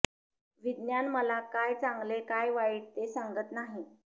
विज्ञान मला काय चांगले काय वाईट ते सांगत नाही